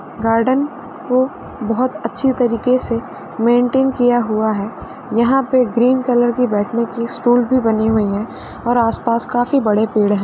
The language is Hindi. गार्डन को बहुत अच्छी तरीके से मेन्टेन किया हुआ है यहां पर ग्रीन कलर की बैठने की स्टूल भी बनी हुई हैं और आस-पास काफी बड़े पेड़ हैं।